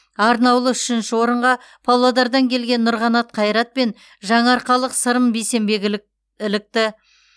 арнаулы үшінші орынға павлодардан келген нұрқанат қайрат пен жаңаарқалық сырым бейсенбек ілікті